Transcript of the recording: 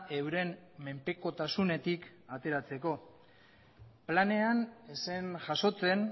euren menpekotasunetik ateratzeko planean ez zen jasotzen